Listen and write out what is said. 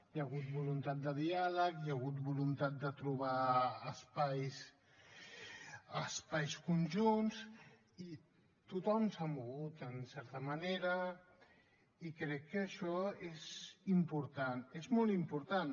hi ha hagut voluntat de diàleg hi ha hagut voluntat de trobar espais espais conjunts i tothom s’ha mogut en certa manera i crec que això és important és molt important